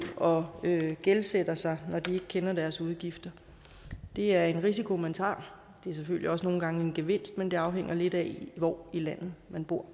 og gældsætter sig når de ikke kender deres udgifter det er en risiko man tager det er selvfølgelig også nogle gange en gevinst men det afhænger lidt af hvor i landet man bor